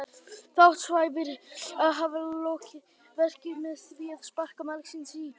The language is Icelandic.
Þá átti Sævar að hafa lokið verkinu með því að sparka margsinnis í höfuð hans.